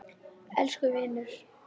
Elsku vinur!